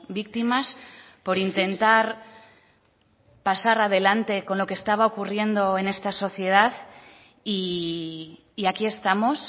víctimas por intentar pasar adelante con lo que estaba ocurriendo en esta sociedad y aquí estamos